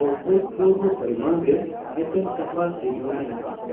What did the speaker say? ᱚᱷᱩᱛᱯᱩᱨᱵᱚ ᱯᱚᱨᱤᱢᱟᱱ ᱨᱮ ᱮᱯᱮᱢ ᱪᱟᱯᱟᱞ ᱨᱤᱡᱷᱟᱹᱣ ᱢᱮᱱᱟᱜ ᱟ ᱾